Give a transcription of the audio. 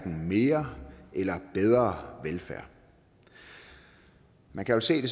mere eller bedre velfærd man kan jo se